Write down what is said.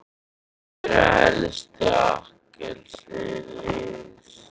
Hver er helsti akkilesarhæll liðsins?